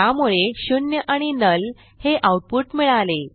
त्यामुळे 0 आणि नुल हे आऊटपुट मिळाले